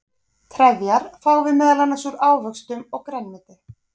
trefjar fáum við meðal annars úr ávöxtum og grænmeti